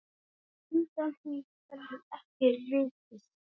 Undan því verður ekki vikist.